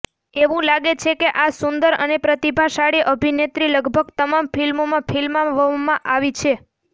એવું લાગે છે કે આ સુંદર અને પ્રતિભાશાળી અભિનેત્રી લગભગ તમામ ફિલ્મોમાં ફિલ્માવવામાં આવી છે